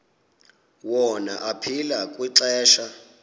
wona aphila kwixesha